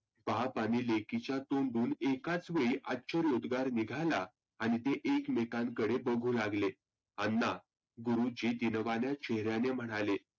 बाप आणि मुलीच्या तोंडून एकाच वेळी अश्चर्य उद्गार निघाला. आणि ते एकमेकांकडे बघु लागले. अण्णा केवलवाण्या चेहऱ्याने म्हणाले.